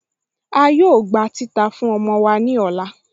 A yóò gbà titàá fún ọmọ wa ni ọlá.